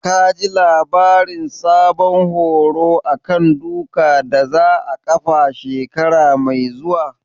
Ka ji labarin sabon horo a kan duka da za a ƙafa shekara mai zuwa?